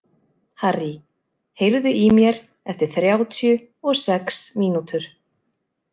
Harrý, heyrðu í mér eftir þrjátíu og sex mínútur.